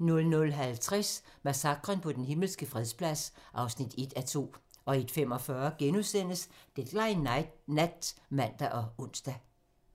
00:50: Massakren på Den Himmelske Fredsplads (1:2) 01:45: Deadline nat *(man og ons)